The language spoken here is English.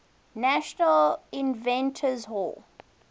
national inventors hall